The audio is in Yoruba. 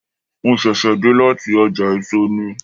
Mo ṣẹ̀ṣẹ̀ dé láti ọjà èso ni.